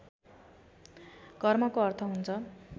कर्मको अर्थ हुन्छ